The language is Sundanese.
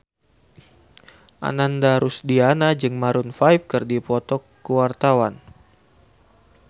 Ananda Rusdiana jeung Maroon 5 keur dipoto ku wartawan